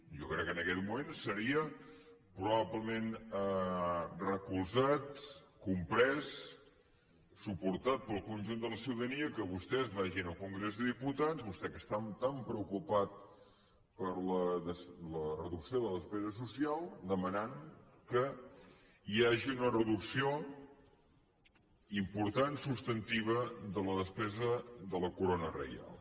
jo crec que en aquest moment seria probablement recolzat comprès suportat pel conjunt de la ciutadania que vostès vagin al congrés dels diputats vostè que està tan preocupat per la reducció de la despesa social demanant que hi hagi una reducció important substantiva de la despesa de la corona reial